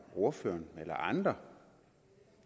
ordføreren eller andre